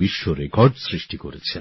বিশ্ব রেকর্ড সৃষ্টি করেছে